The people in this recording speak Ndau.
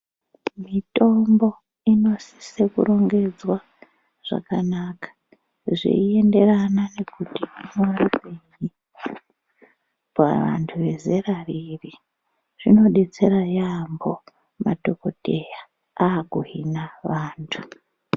Mitombo inosise kurongedzwa zvakanaka zveienderana nekuti paani pavantu vezera ripi zvinodetsera yaamho madhokodheya akuhina vantu.